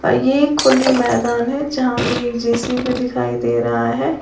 आ ये एक खुली मैदान है जहां पे एक जे_सी_बी दिखाई दे रहा है।